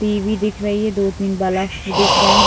TV. दिख रही है दो-तीन बल्फ दिख रहे है।